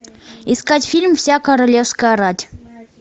искать фильм вся королевская рать